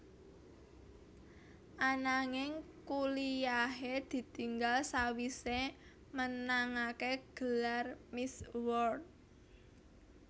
Ananging kuliyahé ditinggal sawisé menangaké gelar Miss World